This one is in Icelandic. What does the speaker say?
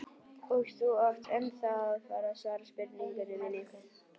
Og þú átt ennþá eftir að svara spurningu minni.